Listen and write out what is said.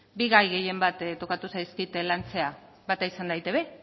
bi gai gehienbat tokatu zaizkit lantzea bata izan da eitb